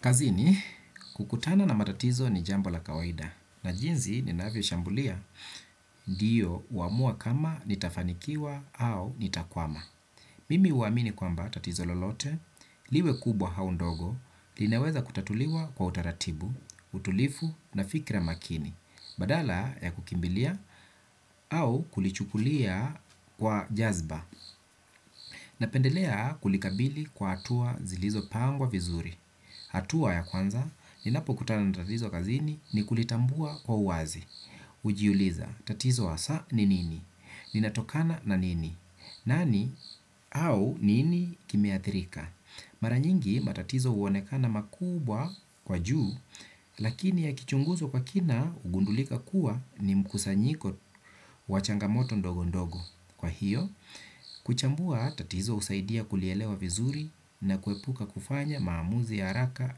Kazini, kukutana na matatizo ni jambo la kawaida na jinsi ninavyo shambulia ndio huamua kama nitafanikiwa au nitakwama. Mimi huamini kwamba tatizo lolote, liwe kubwa au ndogo, linaweza kutatuliwa kwa utaratibu, utulivu na fikra makini, badala ya kukimbilia au kulichukulia kwa jazba. Napendelea kulikabili kwa hatua zilizo pangwa vizuri. Hatua ya kwanza ninapo kutana na tatizo kazini ni kulitambua kwa uwazi. Hujiuliza tatizo hasaa ni nini? Linatokana na nini? Nani au nini kimeathirika? Mara nyingi matatizo huonekana makubwa kwa juu, lakini yakichunguzwa kwa kina hugundulika kuwa ni mkusanyiko wa changamoto ndogo ndogo. Kwa hiyo, kuchambua tatizo husaidia kulielewa vizuri na kuepuka kufanya maamuzi ya haraka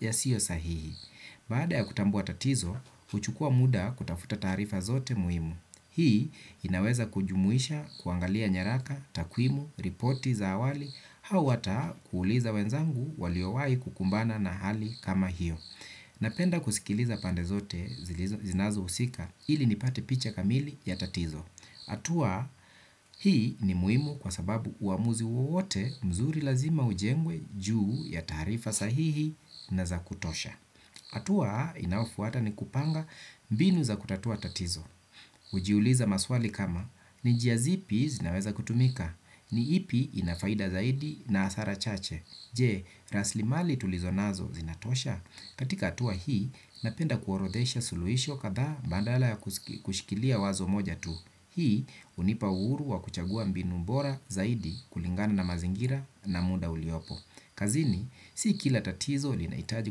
yasiyo sahihi. Baada ya kutambua tatizo, huchukua muda kutafuta taarifa zote muhimu. Hii inaweza kujumuisha kuangalia nyaraka, takwimu, ripoti za awali, au hata kuuliza wenzangu waliowahi kukumbana na hali kama hiyo. Napenda kusikiliza pande zote zinazo husika ili nipate picha kamili ya tatizo. Hatua hii ni muhimu kwa sababu uamuzi wowote mzuri lazima ujengwe juu ya taarifa sahihi na za kutosha. Hatua inayofuata ni kupanga mbinu za kutatua tatizo. Hujiuliza maswali kama, ni njia zipi zinaweza kutumika, ni ipi inafaida zaidi na hasara chache. Je, raslimali tulizo nazo zinatosha. Katika hatua hii, napenda kuorodesha suluhisho katha badala ya kushikilia wazo moja tu. Hii, hunipa uhuru wa kuchagua mbinu bora zaidi kulingana na mazingira na muda uliopo. Kazini, si kila tatizo linahitaji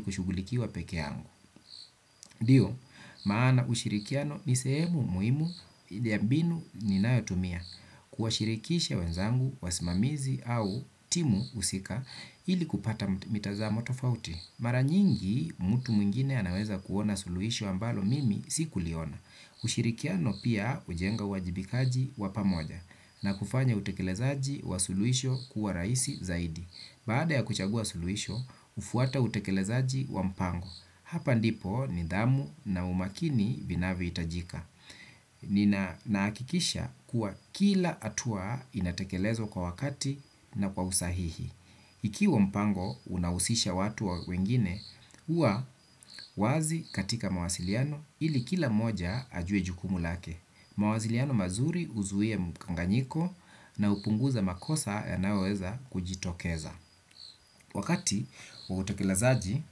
kushugulikiwa peke yangu. Ndiyo, maana ushirikiano ni sehemu muhimu ya mbinu ninayotumia. Kuwashirikisha wenzangu, wasimamizi au timu husika ili kupata mitazamo tofauti. Mara nyingi, mtu mwingine anaweza kuona suluhisho ambalo mimi sikuliona. Ushirikiano pia hujenga uwajibikaji wa pamoja na kufanya utekelezaji wa suluhisho kuwa rahisi zaidi. Baada ya kuchagua suluhisho, hufuata utekelezaji wa mpango. Hapa ndipo nidhamu na umakini vinavyohitajika. Ni nahakikisha kuwa kila hatua inatekelezwa kwa wakati na kwa usahihi. Ikiwa mpango unahusisha watu wa wengine, huwa wazi katika mawasiliano ili kila moja ajue jukumu lake. Mawasiliano mazuri huzuia mkanganyiko na hupunguza makosa yanayoweza kujitokeza. Wakati wa utekelezaji,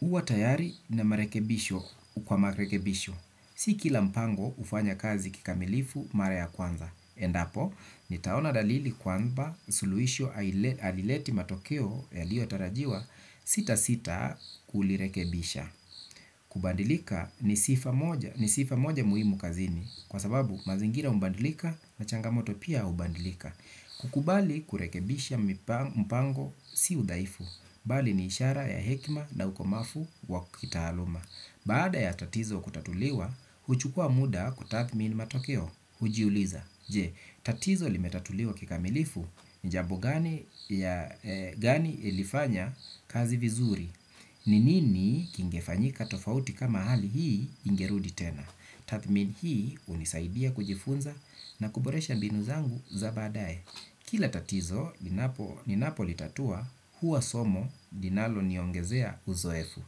huwa tayari na marekebisho kwa marekebisho. Si kila mpango hufanya kazi kikamilifu mara ya kwanza. Endapo, nitaona dalili kwamba suluhisho halileti matokeo yaliyo tarajiwa sitasita kulirekebisha. Kubadilika ni sifa moja muhimu kazini kwa sababu mazingira hubadilika na changamoto pia hubadilika. Kukubali kurekebisha mpango si udhaifu. Bali ni ishara ya hekima na ukomavu wa kitaaluma. Baada ya tatizo kutatuliwa, huchukua muda kutathmini matokeo hujiuliza, je, tatizo limetatuliwa kikamilifu. Ni jambo gani ilifanya kazi vizuri. Ninini kingefanyika tofauti kama hali hii ingerudi tena. Tathmini hii hunisaidia kujifunza na kuboresha mbinu zangu za baadae. Kila tatizo ninapo litatua huwa somo linalo niongezea uzoefu.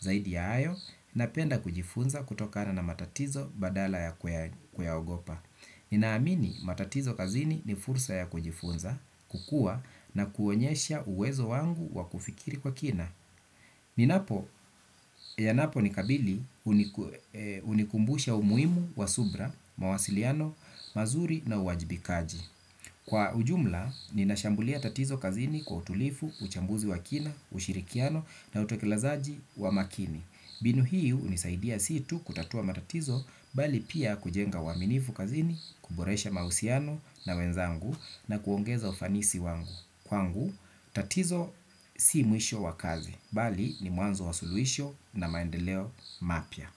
Zaidi ya hayo napenda kujifunza kutokana na matatizo badala ya kuyaogopa. Ninaamini matatizo kazini ni fursa ya kujifunza kukua na kuonyesha uwezo wangu wa kufikiri kwa kina. Ninapo, yanapo nikabili hunikumbusha umuhimu wa subra, mawasiliano, mazuri na uwajibikaji. Kwa ujumla, ninashambulia tatizo kazini kwa utulivu, uchambuzi wa kina, ushirikiano na utekelezaji wa makini. Mbinu hii hunisaidia si tu kutatua matatizo bali pia kujenga waminifu kazini, kuboresha mahusiano na wenzangu na kuongeza ufanisi wangu. Kwangu, tatizo si mwisho wa kazi bali ni mwanzo wa suluhisho na maendeleo mapya.